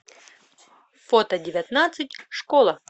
фото девятнадцать школа